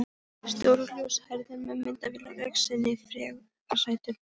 Stór og ljóshærður með myndavél á öxlinni, frekar sætur.